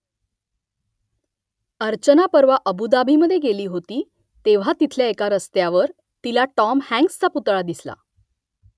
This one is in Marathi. अर्चना परवा अबु धाबीमधे गेली होती तेव्हा तिथल्या एका रस्त्यावर तिला टॉम हँक्सचा पुतळा दिसला